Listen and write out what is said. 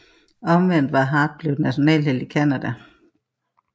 Omvendt var Hart blev nationalhelt i Canada